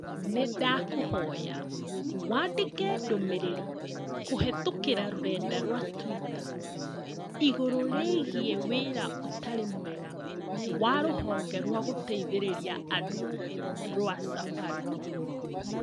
Nĩndakuhoya wandĩke ndũmĩrĩri kũhĩtũkĩra rũrenda rũa tũita igũrũ rĩgiĩ wĩra ũtarĩ mwega wa rũhonge rwa gũteithĩrĩria andũ rũa Safaricom